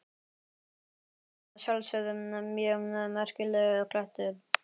En þetta er að sjálfsögðu mjög merkilegur klettur.